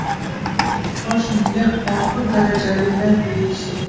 Bosh miya og‘ir darajali lat yeyishi.